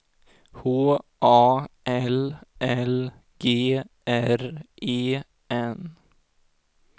H A L L G R E N